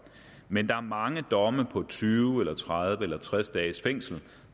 men der er mange domme på tyve tredive eller tres dages fængsel